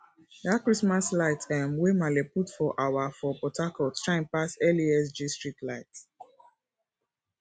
dat christmas light um wey maale put for our for port harcourt shine pass lasg streetlight